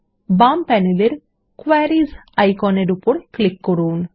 বাম প্যানেলের ক্যোয়ারীস আইকনের উপর ক্লিক করুন